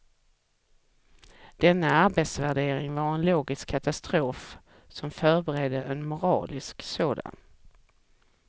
Denna arbetsvärdering var en logisk katastrof som förberedde en moralisk sådan.